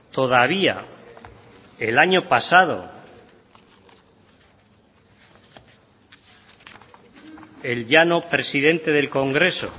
todavía el año pasado el ya no presidente del congreso